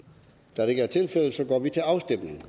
da det ikke er tilfældet går vi til afstemning